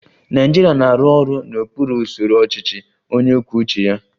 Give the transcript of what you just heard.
Naịjirịa na-arụ ọrụ n'okpuru usoro ọchịchị onye kwuo uche ya